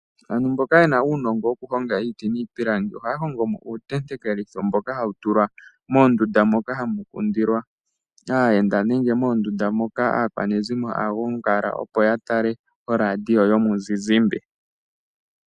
Aantu mboka yena uunongo wokuhonga iiti niipilangi ohaya hongomo uutentekelitho mboka hawu tulwa moondunda moka hamu kundilwa aayenda, nenge moondunda moka aakwanezimo haya gongala opo ya tale oradio yomuzizimba.